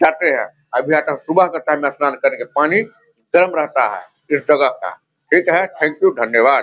जाते हैं अब या तो सुबह का ठंडा स्नान करके पानी गर्म रहता है इस जगह का ठीक है थैंक यू धन्यवाद।